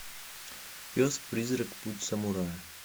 пес призрак путь самурая